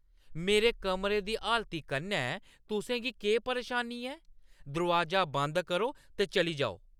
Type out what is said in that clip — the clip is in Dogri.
मेरे कमरे दी हालती कन्नै तुसें गी केह् परेशानी ऐ? दरोआजा बंद करो ते चली जाओ।